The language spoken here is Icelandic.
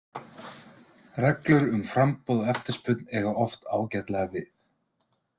Reglur um framboð og eftirspurn eiga oft ágætlega við.